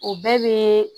O bɛɛ bɛ